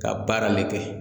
Ka baara de kɛ